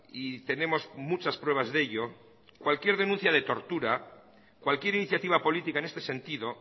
y tenemos muchas pruebas de ello cualquier denuncia de tortura cualquier iniciativa política en este sentido